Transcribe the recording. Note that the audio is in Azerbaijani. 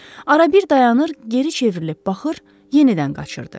Arada dayanır, geri çevrilib baxır, yenidən qaçırdı.